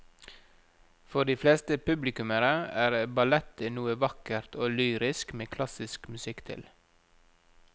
For de fleste publikummere er ballett noe vakkert og lyrisk med klassisk musikk til.